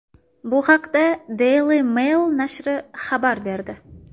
Bu haqda Daily Mail nashri xabar berdi.